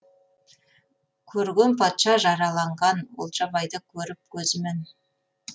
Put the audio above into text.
көрген патша жараланған олжабайды көріп көзімен